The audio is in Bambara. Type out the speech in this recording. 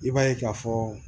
I b'a ye k'a fɔ